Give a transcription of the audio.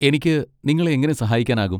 എനിക്ക് നിങ്ങളെ എങ്ങനെ സഹായിക്കാനാകും?